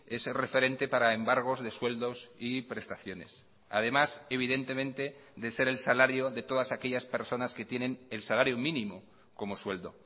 ese referente para embargos de sueldos y prestaciones además evidentemente de ser el salario de todas aquellas personas que tienen el salario mínimo como sueldo